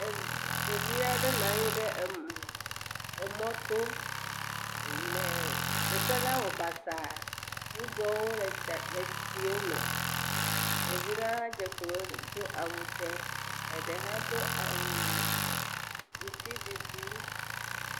Ɖevi a ɖe nɔ anyi ɖe mɔto. E eteƒe la wɔ basa. Ɖuɖɔwo le etsiwo me. Ɖevi la hã dze klo he do awu dzɛ. Eɖe hã Do awu ŋuti ɖiɖi.